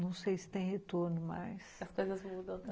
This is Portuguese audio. Não sei se tem retorno, mas... As coisas mudam também.